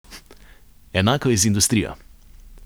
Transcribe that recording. Enako je z industrijo.